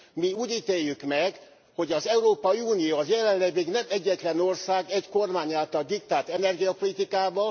Mi úgy ítéljük meg, hogy az Európai Unió az jelenleg egy nem egyetlen ország, egy kormány által diktált energiapolitikával.